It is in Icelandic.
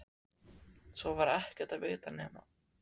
Svo var ekki að vita nema